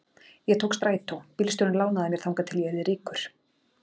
Ég tók strætó, bílstjórinn lánaði mér þangað til ég yrði ríkur.